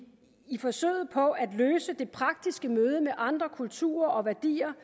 i forsøget på at løse det praktiske møde med andre kulturer og værdier